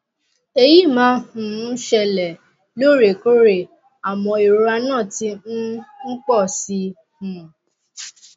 èyí máa um ń ṣẹlẹ lóòrèkóòrè àmọ ìrora náà ti um ń pọ si um